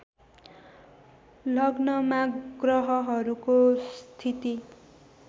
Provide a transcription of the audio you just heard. लग्नमा ग्रहहरूको स्थिति